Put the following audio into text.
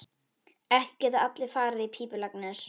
Ekki geta allir farið í pípulagnir.